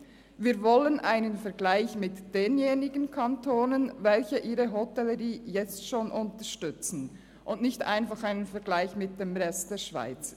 Wir wollen einen Vergleich mit denjenigen Kantonen, die ihre Hotellerie jetzt schon unterstützen, und nicht einfach einen Vergleich mit dem Rest der Schweiz.